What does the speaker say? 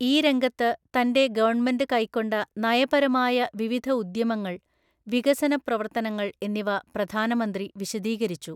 ഈ രംഗത്ത്തന്‍റെ ഗവണ്മെന്റ് കൈക്കൊണ്ട നയപരമായ വിവിധ ഉദ്യമങ്ങള്‍, വികസന പ്രവര്ത്തനങ്ങള്‍ എന്നിവ പ്രധാനമന്ത്രി വിശദീകരിച്ചു.